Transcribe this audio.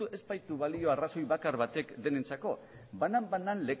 ez baitu balio arrazoi bakar batek denentzako banan banan